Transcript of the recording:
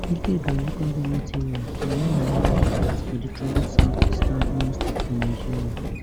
ikeduru local goment area na one of di hot spots for di troubled south eastern imo state for nigeria